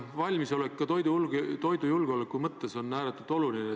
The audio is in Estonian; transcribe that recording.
Valmisolek kriisiks on ka toidujulgeoleku mõttes ääretult oluline.